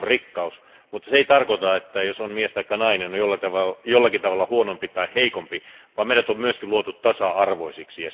Se on rikkaus, mutta se ei tarkoita, että jos on mies taikka nainen, on jollakin tavalla huonompi tai heikompi, vaan meidät on myöskin luotu tasa arvoisiksi.